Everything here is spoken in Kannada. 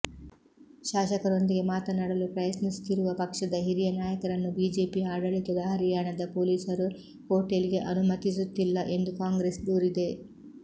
ಶಾಸಕರೊಂದಿಗೆ ಮಾತನಾಡಲು ಪ್ರಯತ್ನಿಸುತ್ತಿರುವ ಪಕ್ಷದ ಹಿರಿಯ ನಾಯಕರನ್ನು ಬಿಜೆಪಿ ಆಡಳಿತದ ಹರಿಯಾಣದ ಪೊಲೀಸರು ಹೋಟೆಲ್ಗೆ ಅನುಮತಿಸುತ್ತಿಲ್ಲ ಎಂದು ಕಾಂಗ್ರೆಸ್ ದೂರಿದೆ